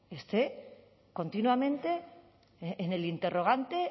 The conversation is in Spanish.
esté continuamente en el interrogante